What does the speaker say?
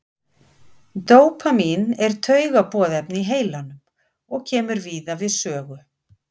dópamín er taugaboðefni í heilanum og kemur víða við sögu